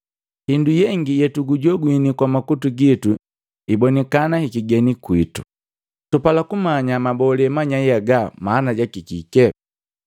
Hindu yengi yetukujogwini kwa makutu gitu ibonikana hikigeni kwiitu. Tupala kumanya mabolee manyai haga mana jaki kike.”